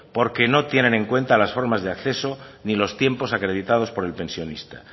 porque no tienen en cuenta las formas de acceso ni los tiempos acreditados por el pensionista